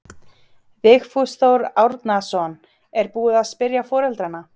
Vigfús Þór Árnason: Er búið að spyrja foreldrana?